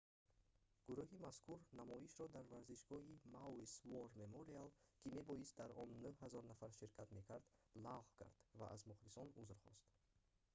гурӯҳи мазкур намоишро дар варзишгоҳи maui's war memorial ки мебоист дар он 9 000 нафар ширкат мекард лағв кард ва аз мухлисон узр хост